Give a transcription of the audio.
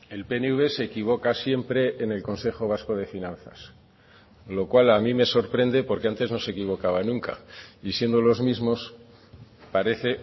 el pnv se equivoca siempre en el consejo vasco de finanzas lo cual a mí me sorprende porque antes no se equivocaba nunca y siendo los mismos parece